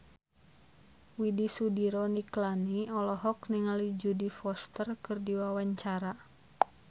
Widy Soediro Nichlany olohok ningali Jodie Foster keur diwawancara